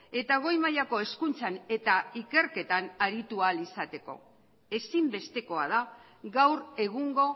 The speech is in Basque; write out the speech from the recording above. eta goi mailako hezkuntzan eta ikerketan aritu ahal izateko ezinbestekoa da gaur egungo